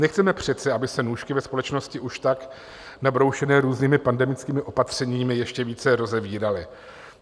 Nechceme přece, aby se nůžky, ve společnosti už tak nabroušené různými pandemickými opatřeními, ještě více rozevíraly.